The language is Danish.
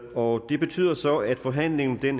og det betyder så at forhandlingen er